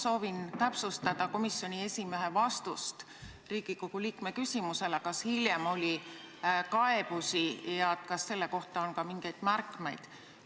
Soovin täpsustada komisjoni esimehe vastust Riigikogu liikme küsimusele selle kohta, kas hiljem oli kaebusi ja kas nende kohta on ka mingisuguseid märkmeid.